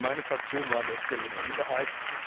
Meine Fraktion war an der Stelle in der Minderheit.